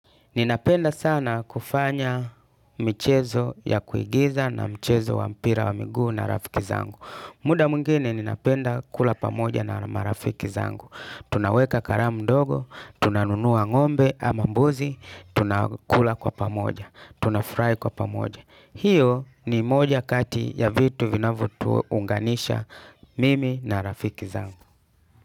Ninapenda sana kufanya michezo ya kuigiza na mchezo wa mpira wa miguu na rafiki zangu. Muda mwengine ninapenda kula pamoja na marafiki zangu. Tunaweka karamu dogo, tunanunua ng'ombe ama mbuzi, tunakula kwa pamoja, tunafurainkwa pamoja. Hiyo ni moja kati ya vitu vinavyotuunganisha mimi na rafiki zangu.